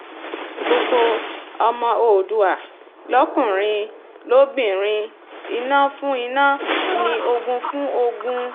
gbogbo ọmọ oòdùà lọ́kùnrin lóbìnrin iná fún iná ni o ogún fún ogún